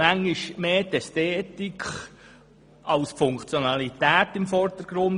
Manchmal steht dann mehr die Ästhetik als die Funktionalität im Vordergrund.